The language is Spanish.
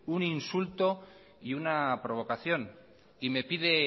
un insulto y una provocación y me pide